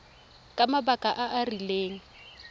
ka mabaka a a rileng